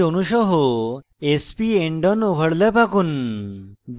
hydrogen chloride hcl অণু সহ sp endon overlap আঁকুন